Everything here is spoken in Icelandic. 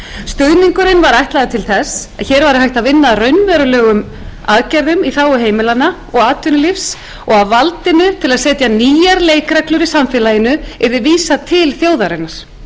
stuðningurinn var ætlaður til þess að hér væri hægt að vinna að raunverulegum aðgerðum í þágu heimilanna og atvinnulífs og að valdinu til að setja nýjar leikreglur í samfélaginu yrði vísað til þjóðarinnar